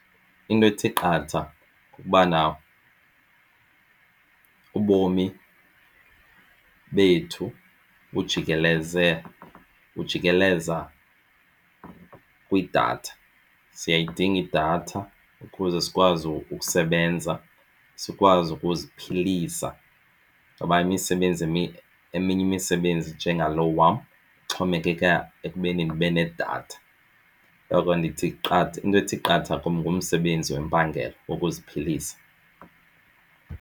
Into ethi qatha kukubana ubomi bethu bujikeleza kwidatha. Siyayidinga idatha ukuze sikwazi ukusebenza sikwazi ukuziphilisa ngoba imisebenzi emininzi eminye imisebenzi enjengalona wam ixhomekeka ekubeni ndibe nedatha. Ngoko into ethi qatha kum ngumsebenzi wempangelo ukuziphilisa.